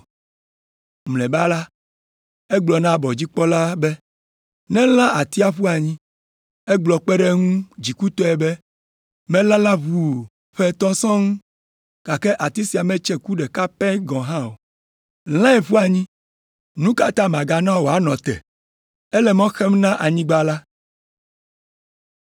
Mlɔeba la, egblɔ na abɔdzikpɔla be nelã atia ƒu anyi. Egblɔ kpe ɖe eŋu dzikutɔe be, ‘Melala ʋuu ƒe etɔ̃ sɔŋ, gake ati sia metse ku ɖeka pɛ hã kpɔ o! Lãe ƒu anyi. Nu ka ta magana wòanɔ te? Ele mɔ xem na anyigba la.’